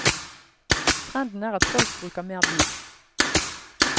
Trenden er at folk bruker mer bil.